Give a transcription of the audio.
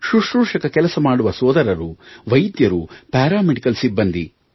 ಸುಶ್ರೂಷಕ ಕೆಲಸ ಮಾಡುವ ಸೋದರರು ವೈದ್ಯರು ಪ್ಯಾರಾ ಮೆಡಿಕಲ್ ಸಿಬ್ಬಂದಿ